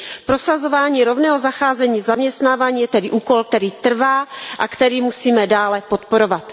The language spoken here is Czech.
Prosazování rovného zacházení v zaměstnávání je tedy úkol, který trvá a který musíme dále podporovat.